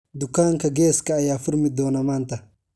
dukaanka geeska ayaa furmi doona maanta